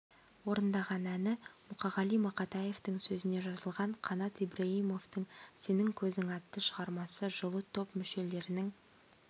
орындаған әні мұқағали мақатаевтың сөзіне жазылған қанат ибраимовтың сенің көзің атты шығармасы жылы топ мүшелерінің